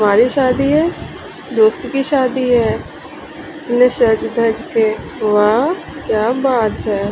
हमारी शादी है दोस्त की शादी है सज-धज के वाह क्या बात है।